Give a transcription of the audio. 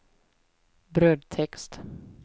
brödtext